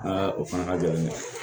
o fana ka gɛlɛn